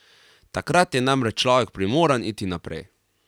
Takrat je namreč človek primoran iti naprej.